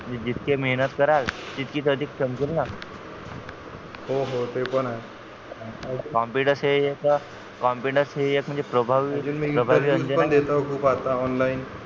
जितके मेहेनत कराल तितकेच अधिक समजेल ना हो हो ते पण आहे confidence हं ही येतो confidence ही म्हणजे प्रभावी आणि मी interview पण ही देतो खूप आता online